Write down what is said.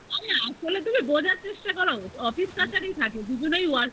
তুমি বোঝার চেষ্টা করো office কাচারী তে থাকি দুজনেই working